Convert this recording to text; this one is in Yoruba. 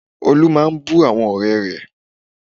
Ọlá máa ń bú àwọn ọ̀rẹ́ rẹ̀